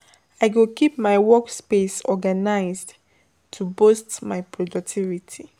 I go keep my workspace organized to boost my productivity.